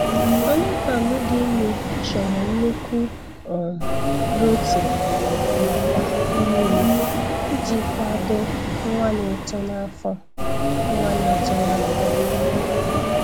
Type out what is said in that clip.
Anụmanụ dị ime chọrọ nnukwu um protein nakwa mmiri iji kwado nwa na-eto n'afọ nwa na-eto n'afọ